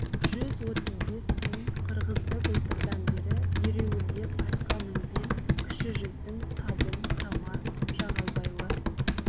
жүз отыз бес үй қырғызды былтырдан бері ереуілдеп атқа мінген кіші жүздің табын тама жағалбайлы